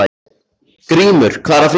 Grímur, hvað er að frétta?